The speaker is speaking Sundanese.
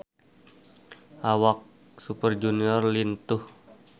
Awak Super Junior lintuh